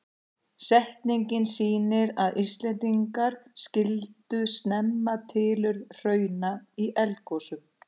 Setningin sýnir að Íslendingar skildu snemma tilurð hrauna í eldgosum.